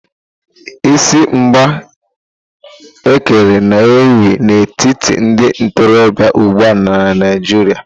Isi igbe ekere na ewù n'etiti ndị ntorobịa ugbua na Naịjirịa.